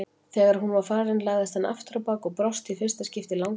Þegar hún var farin lagðist hann afturábak og brosti í fyrsta skipti í langan tíma.